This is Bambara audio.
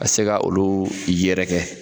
Ka se ka olu yɛrɛ kɛ.